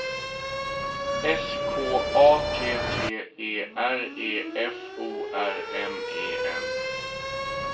S K A T T E R E F O R M E N